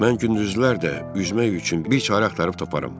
Mən gündüzlər də üzmək üçün bir çarə axtarıb taparam.